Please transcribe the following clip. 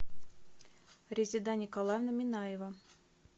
резеда николаевна минаева